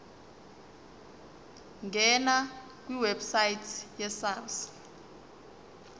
ngena kwiwebsite yesars